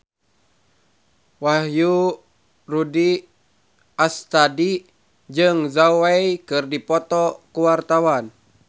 Wahyu Rudi Astadi jeung Zhao Wei keur dipoto ku wartawan